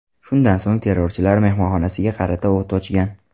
Shundan so‘ng terrorchilar mehmonxonasiga qarata o‘t ochgan.